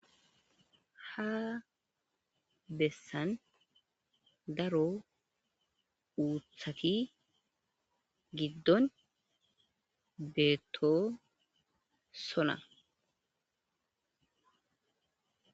ha bessan daro uuthati giddon beeto sona